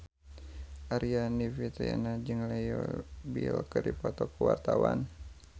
Aryani Fitriana jeung Leo Bill keur dipoto ku wartawan